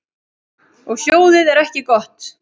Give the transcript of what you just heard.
Og hljóðið er ekki gott.